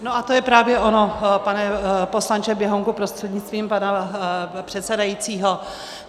No a to je právě ono, pane poslanče Běhounku prostřednictvím pana předsedajícího.